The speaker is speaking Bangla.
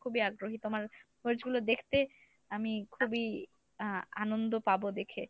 খুবই আগ্রহী তোমার মরিচগুলো দেখতে আমি খুবই আহ আনন্দ পাব দেখে ।